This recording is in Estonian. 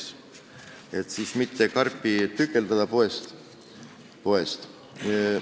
See on mõeldud selleks, et karpi ei oleks vaja poes osadeks jagada.